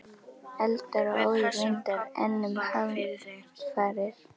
Eldar og óðir vindar- enn um hamfarir